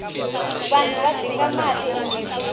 vanhu va dinga mati emirhini